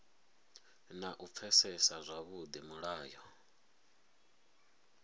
na u pfesesa zwavhudi mulayo